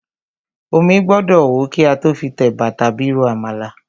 Omí gbọ́dọ̀ hó kí a tó fi tẹ̀bà tàbí ro àmàlà.